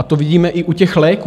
A to vidíme i u těch léků.